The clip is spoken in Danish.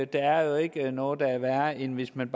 der er jo ikke noget der er værre end hvis man